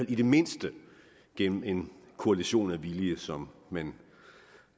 i det mindste gennem en koalition af vilje som man